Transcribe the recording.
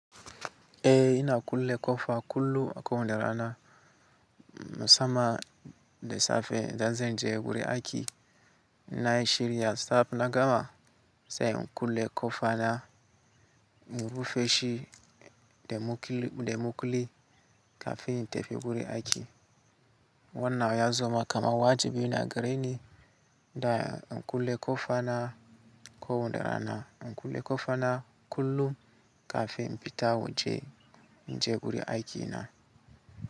Eh ina kulle kofa kullum a ko wane rana musamman da safe da zanje guri aiki. Na shirya sab na gama sai in kulle kofa na mu rufe shi da mukulli kafin in tafi guri aiki. Wannan ya zama kamar wajibi na gare ni da in kulle kofa na ko wanda rana, in kulle kofa na kullum kafin in fita waje inje guri aikina.